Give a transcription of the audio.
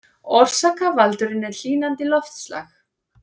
Orsakavaldurinn er hlýnandi loftslag